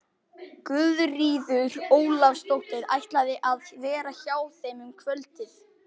Guðríður Ólafsdóttir ætlaði að vera hjá þeim um kvöldið.